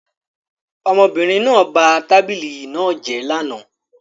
Ọmọbìnrin náà ba tábìlì náà jẹ́ lánàá